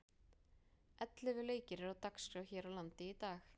Ellefu leikir eru á dagskrá hér á landi í dag.